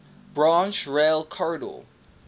branch rail corridor